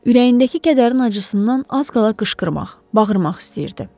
Ürəyindəki kədərin acısından az qala qışqırmaq, bağırmaq istəyirdi.